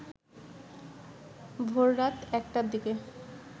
ভোররাত একটার দিকে